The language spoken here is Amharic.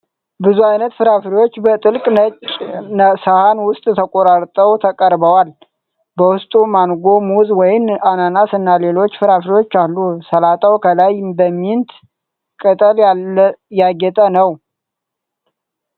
ብዙ አይነት ፍራፍሬዎች በጥልቅ ነጭ ሰሃን ውስጥ ተቆራርጠው ቀርበዋል። በውስጡ ማንጎ፣ ሙዝ፣ ወይን፣ አናናስ እና ሌሎች ፍራፍሬዎች አሉ። ሰላጣው ከላይ በሚንት ቅጠል ያጌጠ ነው።